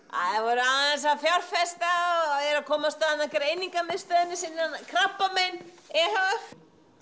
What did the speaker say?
aðeins að fjárfesta og eru að koma af stað greiningarmiðstöðinni sinni þarna krabbamein e h f